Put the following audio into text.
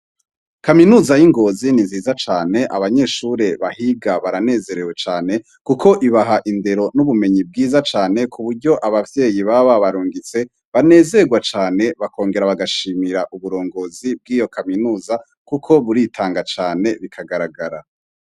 Kaminuza y'i Ngozi ni nziza cane abanyeshure bahiga baranezerewe cane kuko ibaha indero n'ubumenyi bwiza cane ku buryo abavyeyi baba babarungitse banezerwa cane bakongera bagashimira uburongozi bw;iyi kaminuza kuko burintanga cane bikagaragara.